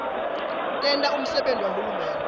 tenta umsebenti wahulumende